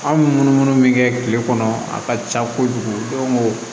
An bɛ munumunu min kɛ kile kɔnɔ a ka ca kojugu